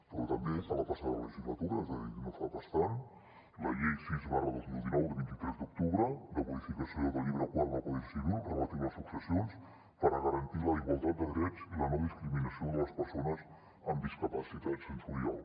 però també que la passada legislatura és a dir no fa pas tant la llei sis dos mil dinou de vint tres d’octubre de modificació del llibre quart del codi civil relatiu a les successions per garantir la igualtat de drets i la no discriminació de les persones amb discapacitat sensorial